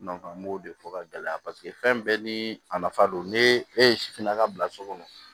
an b'o de fɔ ka gɛlɛya paseke fɛn bɛɛ ni a nafa don ne e ye sifinna ka bila so kɔnɔ